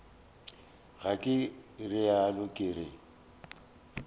ga ke realo ke re